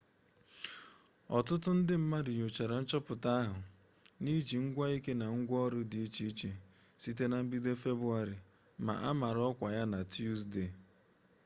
ọtụtụ ndị mmadụ nyochara nchọpụta ahụ n'iji ngwaike na ngwanro dị iche iche site na mbido februarị ma a mara ọkwa ya na tusdee